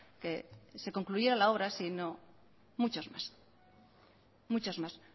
que se concluyera la obra sino que muchos más sino muchos más